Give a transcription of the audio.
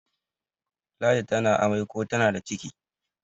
ladi tana amai ko tana da ciki